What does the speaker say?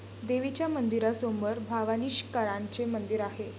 देवीच्या मंदिरासमोर भवानीशंकराचे मंदिर आहे.